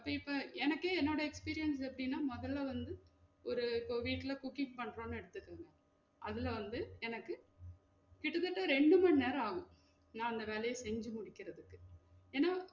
அப்போ இப்ப எனக்கே என்னோட experience எப்டின்னா மொதல்ல வந்து ஒரு இப்ப வீட்ல cooking பன்றோம் எடுத்க்குங்க, அதுல வந்து எனக்கு கிட்ட தட்ட ரெண்டுமனேரம் ஆகும் நா அந்த வேலைய செஞ்சு முடிக்குறதுக்கு ஏனா?